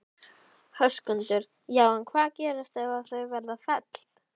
Höskuldur: Já en hvað gerist ef að þau verða felld?